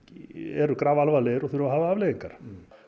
eru grafalvarlegir og þurfa að hafa afleiðingar